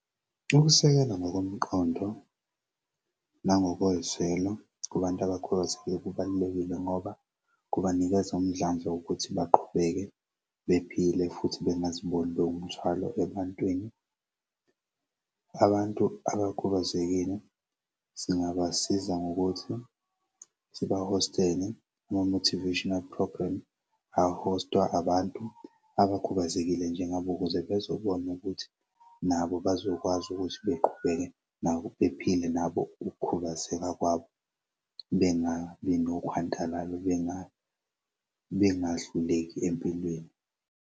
Ukusekela ngokomqondo nangokozwelo kubantu abakhubazekile kubalulekile ngoba kubanikeza umdlandla wokuthi baqhubeke bephile futhi bengaziboni bewumthwalo ebantwini. Abantu abakhubazekile singabasiza ngokuthi sibahostele ama-motivational program ahostwa abantu abakhubazekile njengabo ukuze bezwe kubona ukuthi nabo bazokwazi ukuthi beqhubeke nabo bephile nabo ukukhubazeka kwabo bengabi nokhwandalala bengahluleki empilweni.